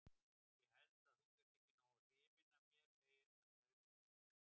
Ég held að þú sért ekki nógu hrifin af mér, segir hann daufur í dálkinn.